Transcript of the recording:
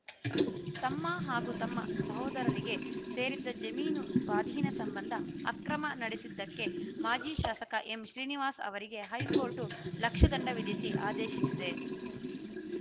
ತಮ್ಮ ಹಾಗೂ ತಮ್ಮ ಸಹೋದರರಿಗೆ ಸೇರಿದ್ದ ಜಮೀನು ಸ್ವಾಧೀನ ಸಂಬಂಧ ಅಕ್ರಮ ನಡೆಸಿದಕ್ಕೆ ಮಾಜಿ ಶಾಸಕ ಎಂಶ್ರೀನಿವಾಸ್‌ ಅವರಿಗೆ ಹೈಕೋರ್ಟ್‌ ಲಕ್ಷ ದಂಡ ವಿಧಿಸಿ ಆದೇಶಿಸಿದೆ